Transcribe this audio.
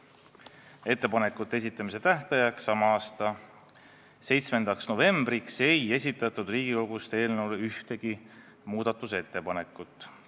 Ettepanekute esitamise tähtajaks, sama aasta 7. novembriks ei esitatud Riigikogust ühtegi muudatusettepanekut.